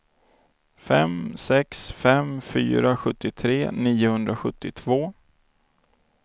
fem sex fem fyra sjuttiotre niohundrasjuttiotvå